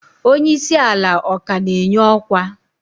Onye isi ala ọ ka na-enye ọkwa?